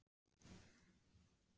Ég elti en slökkti á bílljósunum.